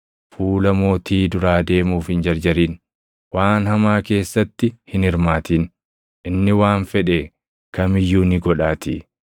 Fuula mootii duraa deemuuf hin jarjarin. Waan hamaa keessatti hin hirmaatin; inni waan fedhe kam iyyuu ni godhaatii.